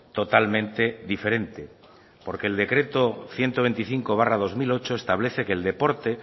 totalmente diferente porque el decreto ciento veinticinco barra dos mil ocho establece que el deporte